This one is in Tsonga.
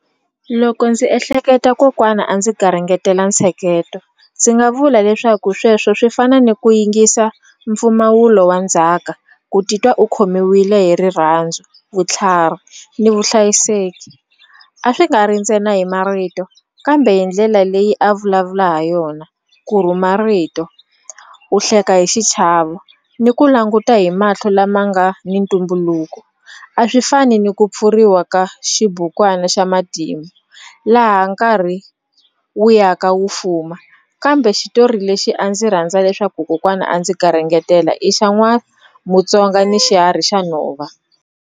Loko ndzi ehleketa kokwana a ndzi garingetela ntsheketo ndzi nga vula leswaku sweswo swi fana ni ku yingisa mpfumawulo wa ndzhaka ku titwa u khomiwile hi rirhandzu vutlhari ni vuhlayiseki a swi nga ri ntsena hi marito kambe hi ndlela leyi a vulavula ha yona ku rhuma rito u hleka hi xichavo ni ku languta hi mahlo lama nga ni ntumbuluko a swi fani ni ku pfuriwa ka xibukwana xa matimu laha nkarhi wu ya ka wu fuma kambe xitori lexi a ndzi rhandza leswaku kokwana a ndzi garingetela i xa n'wa mutsonga ni xiharhi xa nhova.